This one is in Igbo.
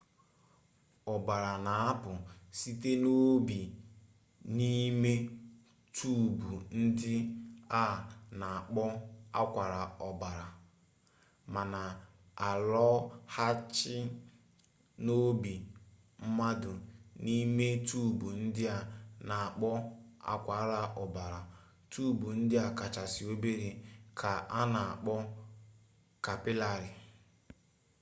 ọbara na-apụ site n'obi n'ime tuubu ndị a na-akpọ akwara ọbara ma na-alọghachi n'obi mmadụ n'ime tuubu ndị a na-akpọ akwara ọbara tuubu ndị kachasị obere ka a na-akpọ kapịlarị